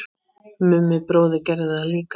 Mummi bróðir gerði það líka.